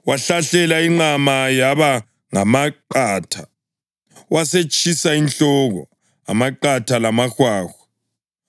Wahlahlela inqama yaba ngamaqatha, wasetshisa inhloko, amaqatha lamahwahwa.